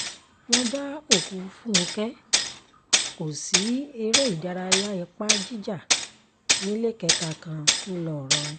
wọ́n bá òkú fúnkẹ́ kóòsì eré ìdárayá ipa jíjà níléekétà kan ńlọrọrìn